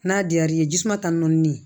N'a diyar'i ye jisuma ta ni nɔni nɛ